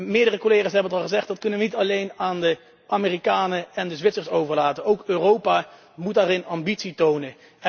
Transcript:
Meerdere collega's hebben het al gezegd dat kunnen we niet alleen aan de Amerikanen en de Zwitsers overlaten, ook Europa moet daarin ambitie tonen.